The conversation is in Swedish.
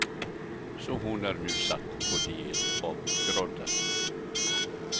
Så hon är nu satt på diet av groddar.